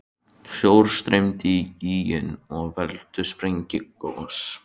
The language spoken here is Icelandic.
Sjór streymir í gíginn og veldur sprengigosi.